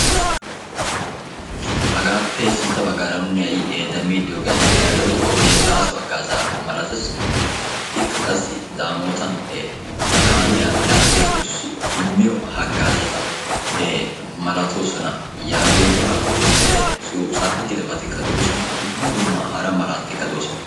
Hagappe sintta baggaara nuun ha'i demmidi diyooge aybba giyaaba gidikko baaso hagaaza malatees. Ikka qassi daamotan kaamiyaa laagiyaagetuyo immiyo hagaazata malatoosona yaagiyooga. Tsafetidabatikka de'oosona dumma dumma hara malaatatikka de'oosona.